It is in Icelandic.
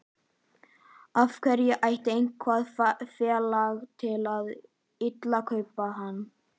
En af hverju ætti eitthvað félag að vilja kaupa hann?